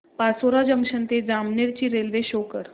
Pachora junction ते जामनेर ची railway show कर